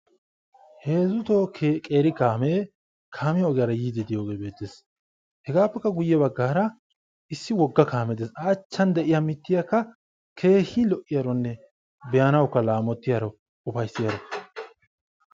Heezu toho qeeri kaamee kaamiya ogiyara yiiddi diyoogee beettes. Hegaappekka guyye baggaara issi wogga kaamee des. A achchan de'iya mittiyaakka keehi lo'iyaaronne be"anawukka laamotiyaro ufayissiyaaro.